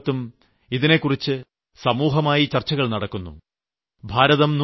രാജ്യത്തും ലോകത്തും ഇതിനെക്കുറിച്ച് സമൂഹചർച്ചകൾ നടക്കുന്നു